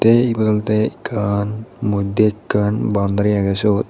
ey egot olode ekkan modde ekkan baundari agey siot.